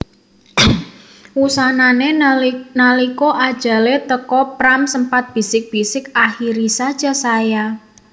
Wusanané nalika ajalé teka Pram sempat bisik bisik Akhiri saja saya